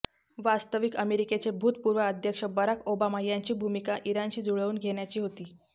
वास्तविक अमेरिकेचे भूतपूर्व अध्यक्ष बराक ओबामा यांची भूमिका इराणशी जुळवून घेण्याची होती